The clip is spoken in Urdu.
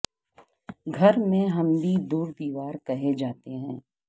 گھر میں ہم بھی دور دیوار کہے جاتے ہیں